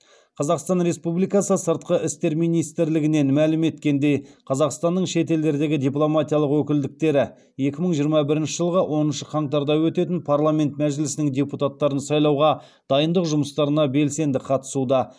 қазақстан республикасы сыртқы істер министрлігінен мәлім еткендей қазақстанның шет елдердегі дипломатиялық өкілдіктері екі мың жиырма бірінші жылғы оныншы қаңтарда өтетін парламент мәжілісінің депутаттарын сайлауға дайындық жұмыстарына белсенді қатысуда